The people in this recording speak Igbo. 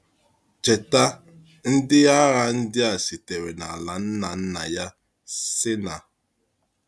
Cheta, ndị agha ndị a sitere na ala nna nna ya, Sínà.